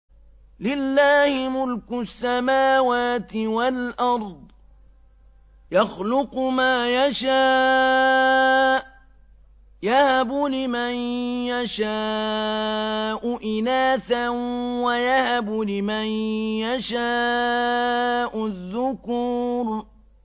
لِّلَّهِ مُلْكُ السَّمَاوَاتِ وَالْأَرْضِ ۚ يَخْلُقُ مَا يَشَاءُ ۚ يَهَبُ لِمَن يَشَاءُ إِنَاثًا وَيَهَبُ لِمَن يَشَاءُ الذُّكُورَ